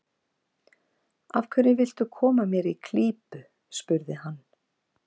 Af hverju viltu koma mér í klípu? spurði hann.